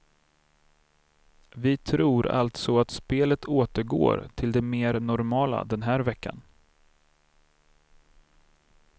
Vi tror alltså att spelet återgår till det mer normala den här veckan.